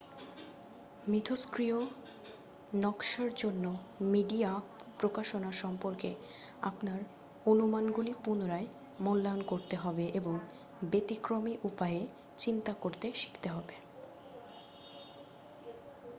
মিথষ্ক্রিয় নকাশার জন্য মিডিয়া প্রকাশনা সম্পর্কে আপনার অনুমানগুলি পুনরায় মূল্যায়ন করতে হবে এবং ব্যতিক্রমী উপায়ে চিন্তা করতে শিখতে হবে